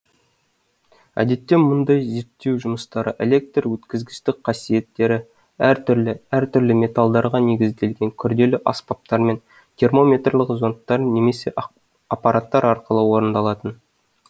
әдетте мұндай зерттеу жұмыстары электр өткізгіштік қасиеттері әртүрлі әртүрлі металдарға негізделген күрделі аспаптармен термометрлік зондтар немесе аппараттар арқылы орындалатын